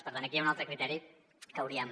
per tant aquí hi ha un altre criteri que hauríem